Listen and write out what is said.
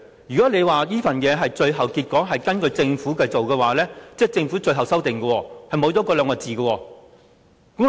如果你說這份文件是最後的，是根據政府提供的文件而寫的，即是政府的最後修訂刪去了那兩個字。